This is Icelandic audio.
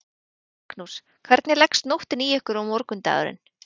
Magnús: Hvernig leggst nóttin í ykkur og morgundagurinn?